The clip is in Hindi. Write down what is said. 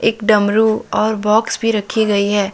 डमरू और बॉक्स भी रखी गई है।